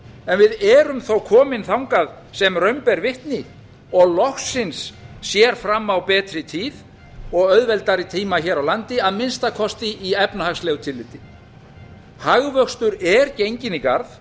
en við erum þó komin þangað sem raun ber vitni og loksins sér fram á betri tíð og auðveldari tíma hér á landi að minnsta kosti í efnahagslegu tilliti hagvöxtur er genginn í garð